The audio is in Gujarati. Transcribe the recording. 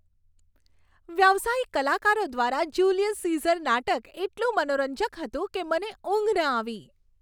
વ્યાવસાયિક કલાકારો દ્વારા જુલિયસ સીઝર નાટક એટલું મનોરંજક હતું કે મને ઊંઘ ન આવી.